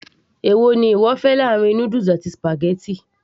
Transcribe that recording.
èwo ni ìwọ fẹ́ láàrin noodles àti spaghetti